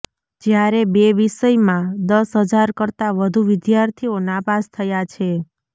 જ્યારે બે વિષયમાં દસ હજાર કરતાં વધુ વિદ્યાર્થીઓ નાપાસ થયા છે